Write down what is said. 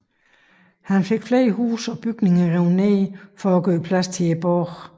Han fik flere huse og bygninger revet ned for at gøre plads til borgen